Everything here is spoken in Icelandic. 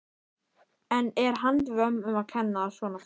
En er handvömm um að kenna að svona fer?